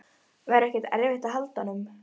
Verður ekki erfitt að halda honum?